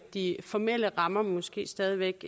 de formelle rammer måske stadig væk